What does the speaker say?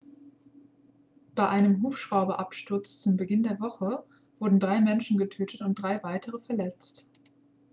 bei einem hubschrauberabsturz zu beginn der woche wurden drei menschen getötet und drei weitere verletzt